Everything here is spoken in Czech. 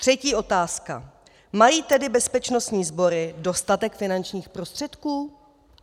Třetí otázka: Mají tedy bezpečnostní sbory dostatek finančních prostředků?